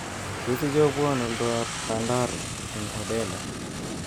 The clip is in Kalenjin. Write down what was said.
Tos ichobwon oldoab Pandaro eng Odele